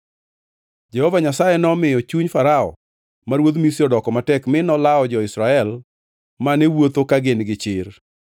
Jehova Nyasaye nomiyo chuny Farao ma ruodh Misri odoko matek, mi nolawo jo-Israel mane wuotho ka gin gi chir.